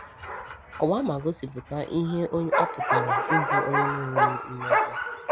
Kọwaa ma gosipụta ihe ọ pụtara ịbụ onye na-enweghị mmejọ.